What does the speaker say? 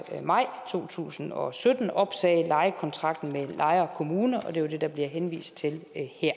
maj to tusind og sytten opsagde lejekontrakten med lejre kommune og det er jo det der bliver henvist til